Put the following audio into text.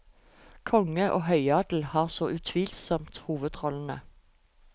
Konge og høyadel har så utvilsomt hovedrollene.